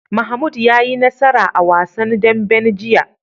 Mahmud ya yi nasara a wasan dambe jiya.